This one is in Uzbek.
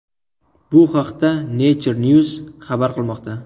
Bu haqda Nature News xabar qilmoqda .